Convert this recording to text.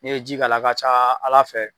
Ni ye ji ka la a ka ca ala fɛ.